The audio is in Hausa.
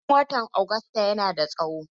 Hutun watan Agusta yana da tsawo.